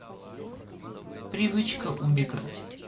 привычка убегать